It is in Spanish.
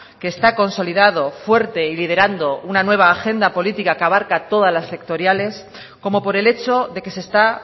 que está consolidado fuerte y liderando una nueva agenda política que abarca todas las sectoriales como por el hecho de que se está